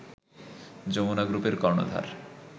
যমুনা গ্রুপের কর্ণধার